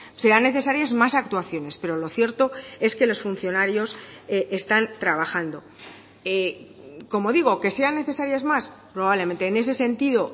sean necesarias más actuaciones pero lo cierto es que los funcionarios están trabajando como digo que sean necesarias más probablemente en ese sentido